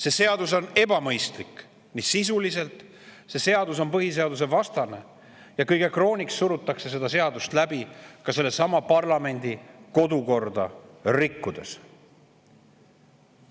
See seadus on ebamõistlik, sisuliselt see seadus on põhiseadusevastane ja kõige krooniks surutakse seda seadust läbi parlamendi kodukorda rikkudes.